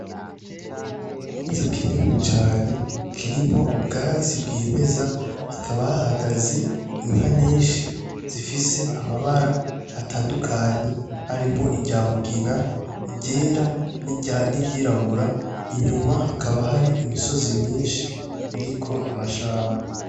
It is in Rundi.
Ikibanza kinini cane kirimwo ubwatsi bwimeza, hakaba hahagaze inka nyinshi zifise amabara atandukanye harimwo irya mugina, iryera niry'irabura, inyuma hakaba hari imisozi myinshi iriko amashamba.